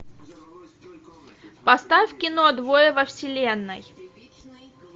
поставь кино двое во вселенной